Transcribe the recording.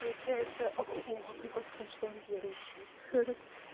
получается вот прикол в том что он верующий ха ха